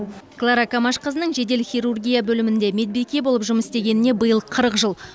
клара камашқызының жедел хирургия бөлімінде медбике болып жұмыс істегеніне биыл қырық жыл